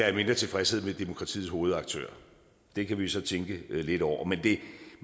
er mindre tilfredshed med demokratiets hovedaktører det kan vi så tænke lidt over men det